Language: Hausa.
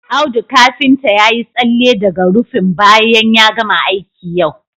Audu kafinta ya yi tsalle daga rufin bayan ya gama aiki yau